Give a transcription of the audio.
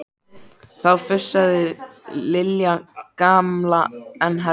Þá fussaði Lilja gamla enn hærra.